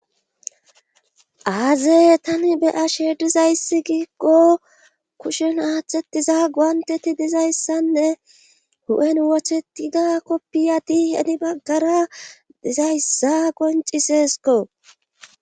Aaze tani be ashe dizayssi giiggo kushen aathetiza guanteti dizayssanne hu'en wochetida koppiya di heni baggara dizayssa qonciseesko'